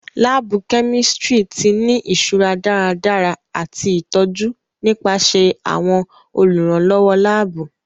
Laabu kẹ́místrì ti ni iṣura daradara ati itọju nipasẹ àwọn olùrànlọwọ laabu.